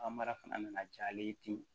A mara fana nana ja ale ye ten